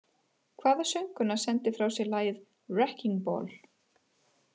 Hvaða söngkona sendi frá sér lagið “Wrecking Ball”?